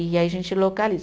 E aí a gente localiza.